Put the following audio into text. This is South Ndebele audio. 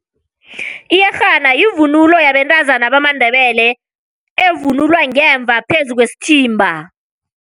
Iyerhana yivunulo yabentazana bamaNdebele evunulwa ngemva phezu kwesithimba.